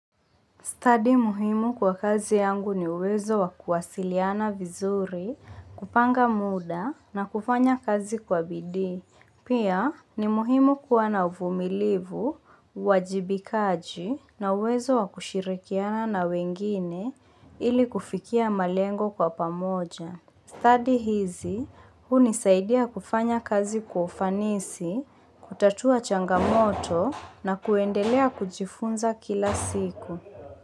Stadi muhimu kwa kazi yangu ni uwezo wa kuwasiliana vizuri, kupanga muda na kufanya kazi kwa bidii Pia ni muhimu kuwa na uvumilivu, uwajibikaji na uwezo wa kushirikiana na wengine ili kufikia malengo kwa pamoja. Stadi hizi hunisaidia kufanya kazi kufanisi, kutatua changamoto na kuendelea kujifunza kila siku.